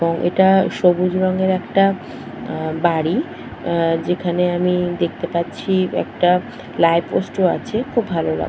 এটা সবুজ রঙের একটা আঃ বাড়ি আঃ যেখানে আমি দেখতে পাচ্ছি একটা লাইট পোস্ট ও আছে খুব ভালো লাগ --